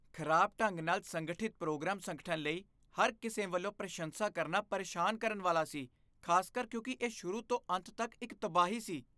ਖਰਾਬ ਢੰਗ ਨਾਲ ਸੰਗਠਿਤ ਪ੍ਰੋਗਰਾਮ ਸੰਗਠਨ ਲਈ ਹਰ ਕਿਸੇ ਵੱਲੋਂ ਪ੍ਰਸ਼ੰਸਾ ਕਰਨਾ ਪਰੇਸ਼ਾਨ ਕਰਨ ਵਾਲਾ ਸੀ, ਖ਼ਾਸਕਰ ਕਿਉਂਕਿ ਇਹ ਸ਼ੁਰੂ ਤੋਂ ਅੰਤ ਤੱਕ ਇੱਕ ਤਬਾਹੀ ਸੀ।